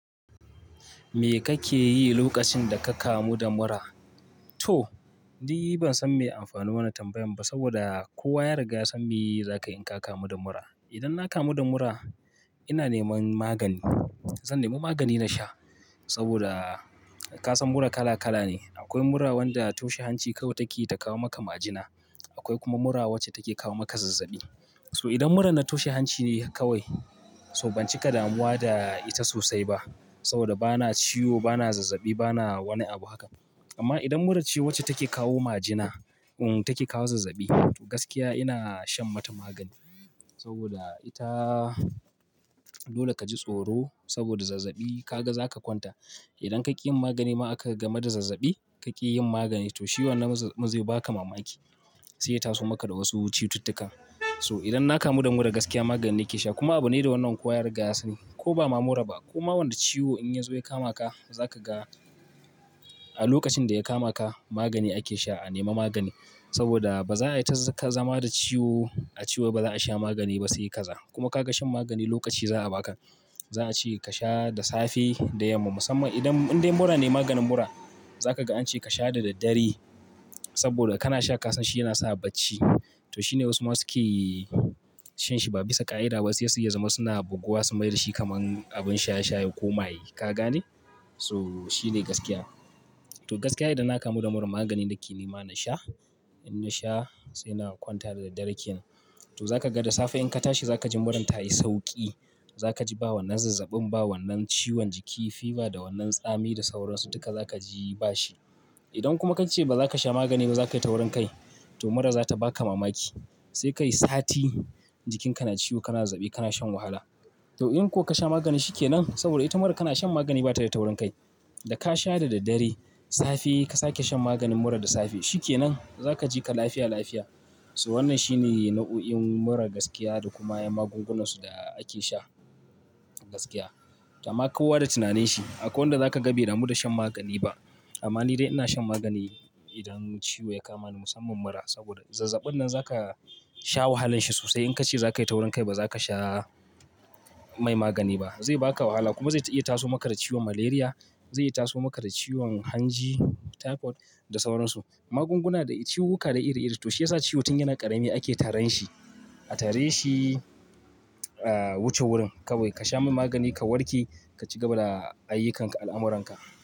Me kake yi lokacin da ka kamu da mura? To, ni ban san me amfanin wannan tambayan ba, saboda kowa ya riga san me za ka yi in ka kamu da mura. Idan na kamu da mura, ina neman magani. Zan nemi magani na sha saboda ka san mura kala kala ne. Akwai mura wanda toshe hanci kawai take ta kawo maka majina. Akwai kuma mura wacce take kawo maka zazzabi. So, idan murar na toshe hanci ne kawai, so ban cika damuwa da ita sosai ba saboda bana ciwo, bana zazzabi, bana wani abu haka. Amma idan mura ce wacce take kawo majina, take kawo zazzabi, to gaskiya ina shan mata magani. Saboda ita, dole ka ji tsoro, saboda zazzabi ka ga za ka kwanta. Idan ka ƙi yin magani ma aka game da zazzabi, ka ƙi yin magani to shi wannan murar zai ba ka mamaki. Sai ya taso maka da wasu cututtuka. So idan na kamu da mura gaskiya magani ke sha. Kuma abu ne da wannan kowa ya riga sani. Ko ba mura ba, ko ma wanda ciwo in ya zo ya kama ka, za ka ga a lokacin da ya kama ka, magani ake sha, a nemi magani. Saboda ba za a yi ta zama da ciwo, a ce wai ba za a sha magani ba sai kaza. Kuma ka ga shan magani lokaci za a baka. Za'a ce ka sha da safe, da yamma. Musamman idan, in dai mura ne, maganin mura za ka ga an ce ka sha da daddare, saboda kana sha ka san shi yana sa bacci. To shine wasu masu ke shan shi ba bisa ƙa'ida ba. Sai ya zama suna buguwa sun mai da shi kamar abin sha sha, ya koma yi. Ka gane? So, shine gaskiya. To gaskiya idan na kamu da mura magani yake neman na sha. In na sha, sai na kwanta da dare ken. To, za ka ga da safe in ka tashi za ka ji murar ta yi sauƙi. Za ka ji ba wannan zazzabin ba, wannan ciwon jiki, fever da wannan tsami, da sauran su, duka za ka ji ba shi. Idan kuma ka ce ba za ka sha magani ba, za ka yi taurin kai. To mura za ta baka mamaki, sai ka yi sati jikinka na ciwo, kana zazzai, kana shan wahala. To, in ko ka sha maganin shi ke nan, saboda ita mura kana shan magani ba ta da taurin kai. Da ka sha da daddare, safe ka sake shan maganin mura da safe. Shi ke nan, za ka ji ka lafiya lafiya. So wannan shine nau'o'in mura gaskiya, da kuma 'yan magungunan su da ake sha gaskiya. To amma ka kowa da tunaninsa. Akwai wanda za ka ga bai damu da shan magani ba. Amma ni dai ina shan magani, idan ciwo ya kama ni musamman mura, saboda zazzabin nan za ka sha wahalan shi sosai, in ka ce za ka yi taurin kai ba za ka sha mai magani ba. Zai baka wahala kuma zai iya taso maka da ciwon malaria, zai iya taso maka da ciwon hanji, typhoid da sauran su. Magunguna da ciwuka da iri iri. To shi ya sa ciwo tun yana ƙarami ake taran shi. A tare shi, ah, wuce wurin kawai ka sha mai magani, ka warke, ka cigaba da ayyukanka, al'amuranka.